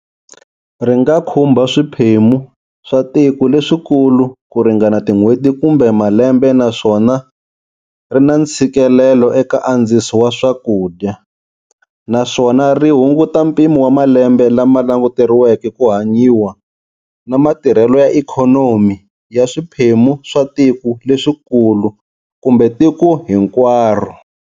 Ri nga khumba swiphemu swa tiko leswikulu ku ringana tin'hweti kumbe malembe naswona ri na ntshikelelo eka andziso wa swakudya, naswona ri hunguta mpimo wa malembe lama languteriweke ku hanyiwa na matirhelo ya ikhonomi ya swiphemu swa tiko leswikulu kumbe tiko hinkwaro.